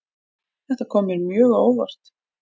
Þetta kom mér mjög á óvart